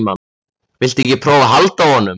Viltu ekki prófa að halda á honum?